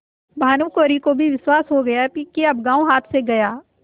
भानुकुँवरि को भी विश्वास हो गया कि अब गॉँव हाथ से गया